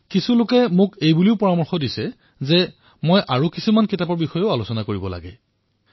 কিছুমানে মোক অন্য বহুতো গ্ৰন্থৰ বিষয়েও ধ্যানকেন্দ্ৰিত কৰিবলৈ পৰামৰ্শ দিছে